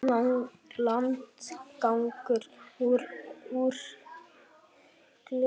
Landgangurinn er úr gleri.